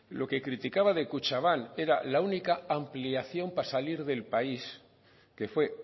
lo que criticaba de kutxabank era la única ampliación para salir del país que fue